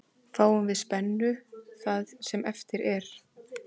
Fáum við spennu það sem eftir er.